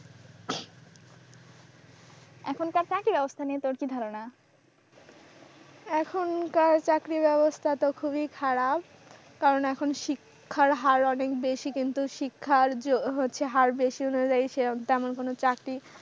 এখনকার চাকরি ব্যবস্থা নিয়ে তোর কি ধারণা? এখনকার চাকরির ব্যবস্থা তো খুবই খারাপ কারণ এখন শিক্ষার হার অনেক বেশি কিন্তু শিক্ষার্য হচ্ছে হার বেশি হয়ে গেছে আমার কোন চাকরি,